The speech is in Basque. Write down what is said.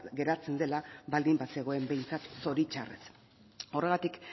geratzen dela baldin bazegoen behintzat zoritxarrez horregatik